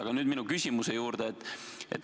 Aga nüüd minu küsimuse juurde.